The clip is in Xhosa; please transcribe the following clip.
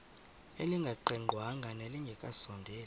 elingaqingqwanga nelinge kasondeli